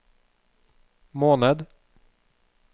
måned